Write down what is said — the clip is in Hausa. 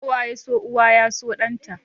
Kowa ya so uwa yaso danta.